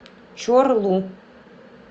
чорлу